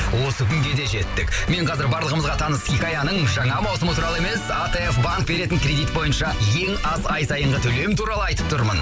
осы күнге де жеттік мен қазір барлығымызға таныс хикаяның жаңа маусымы туралы емес атф банк беретін кредит бойынша ең аз ай сайынғы төлем туралы айтып тұрмын